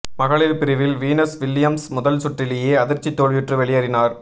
மகளிர் பிரிவில் Venus Williams முதல் சுற்றிலேயே அதிர்ச்சி தோல்வியுற்று வெளியேறினார்